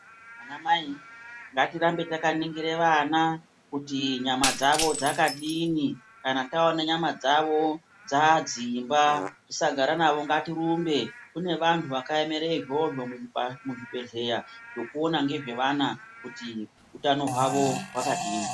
Vanamai ngatirambe takaningire vana kuti nyama dzavo dzakadini. Kana taone nyama dzavo dzadzimba tisagara navo, ngatirumbe, kune vantu vakayemere izvozvo zvekuona ngezvevana kuti utano hwavo hwakadii?